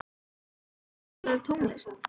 Addý, spilaðu tónlist.